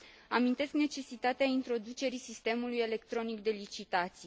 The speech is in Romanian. Amintesc necesitatea introducerii sistemului electronic de licitații.